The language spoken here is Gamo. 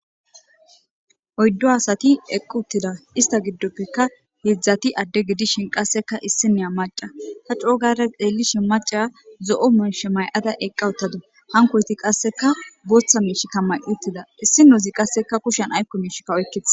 Oydu asati eqi uttida ista gidopeka hedzdzati Ade gidishin qasseka issiniya macha ta co'o gada xellishin machaya zo'o mayo mayada utadus issti qasseka Botha mayo mayi uttida issinizi kushan ayko oyki utides